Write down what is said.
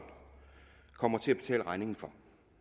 kommer til at betale regningen for